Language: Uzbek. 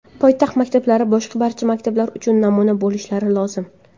Poytaxt maktablari boshqa barcha maktablar uchun namuna bo‘lishlari lozim.